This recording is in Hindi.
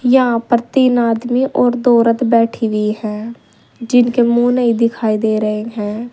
यहाँ पर तीन आदमी और दो औरत बैठी हुई हैं जिनके मुंह नहीं दिखाई दे रहे हैं।